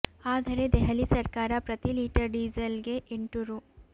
ಆದರೆ ದೆಹಲಿ ಸರ್ಕಾರ ಪ್ರತಿ ಲೀಟರ್ ಡಿಸೇಲ್ ಗೆ ಎಂಟು ರೂ